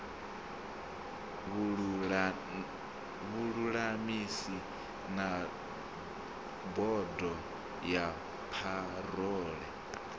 vhululamisi na bodo ya parole